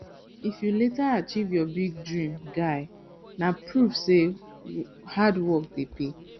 if you later achieve your big dream guy na proof say hard work dey pay